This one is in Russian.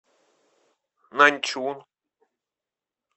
наньчун